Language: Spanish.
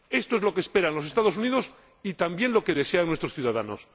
Esto es lo que esperan los Estados Unidos y también lo que desean nuestros ciudadanos.